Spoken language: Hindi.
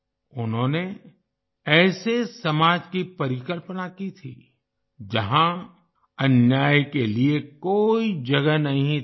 उन्होंने ऐसे समाज की परिकल्पना की थी जहाँ अन्याय के लिए कोई जगह नहीं थी